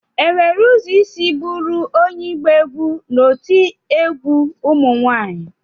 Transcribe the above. Enwere ụzọ isi bụrụ onye ịgba egwu n'otu egwu ụmụ nwanyị?